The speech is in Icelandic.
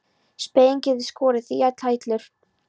Spegillinn getur skorið þig í tætlur.